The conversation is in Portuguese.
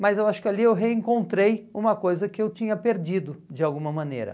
Mas eu acho que ali eu reencontrei uma coisa que eu tinha perdido, de alguma maneira.